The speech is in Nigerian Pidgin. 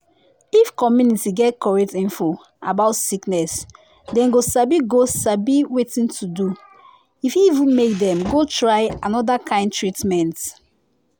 if community get correct info about sickness dem go sabi go sabi wetin to do. e fit even make dem go try another kind treatment.